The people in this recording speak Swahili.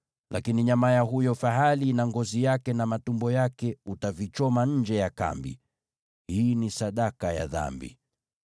Lakini nyama ya huyo fahali na ngozi yake na matumbo yake utavichoma nje ya kambi. Hii ni sadaka ya dhambi.